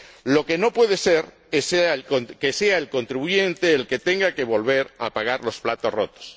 Lo que no puede ser es que sea el contribuyente el que tenga que volver a pagar los platos rotos.